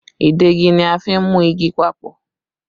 Ìdegi ni a fi n mú igi papọ̀